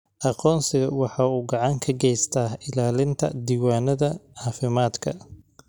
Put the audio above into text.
Aqoonsigu waxa uu gacan ka geystaa ilaalinta diiwaannada caafimaadka.